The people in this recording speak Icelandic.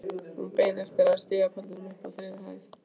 Hún beið eftir mér á stigapallinum uppi á þriðju hæð.